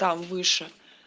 там выше